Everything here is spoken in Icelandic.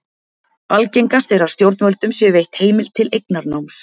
Algengast er að stjórnvöldum sé veitt heimild til eignarnáms.